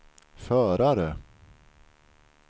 förare